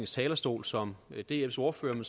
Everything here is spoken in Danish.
talerstol som dfs ordfører men